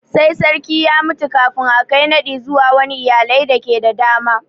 Sai sarki ya mutu kafin a Kai naɗi zuwa wani iyalai dake da dama.